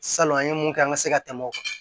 Salon an ye mun kɛ an ka se ka tɛmɛ o kan